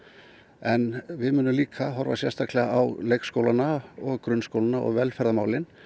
en við munum líka horfa sérstaklega á leikskólana og grunnskólana og velferðarmálin